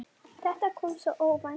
Þetta kom svo óvænt.